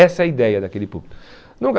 Essa é a ideia daquele púlpito.